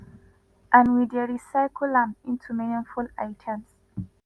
and we dey recycle am into meaningful items.”